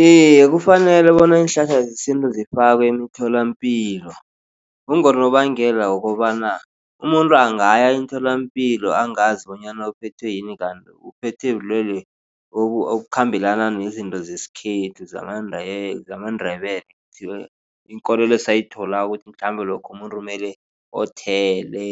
Iye, kufanele bona iinhlahla zesintu zifakwe emtholapilo. Kungonobangela wokobana umuntu angaya emtholapilo angazi bonyana uphethwe yini kanti uphethwe bulwele obukhambelana nezinto zesikhethu zamaNdebele inkolelo esayitholako ukuthi mhlambe lokha umuntu kumele othele.